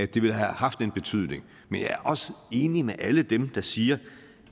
det ville have haft en betydning men jeg er også enig med alle dem der siger